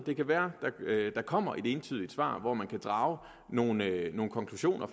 det kan være at der kommer et entydigt svar hvor man kan drage nogle nogle konklusioner